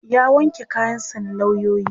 ya wanke kayan sa na lauyoyi